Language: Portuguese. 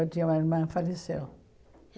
Eu tinha uma irmã, faleceu.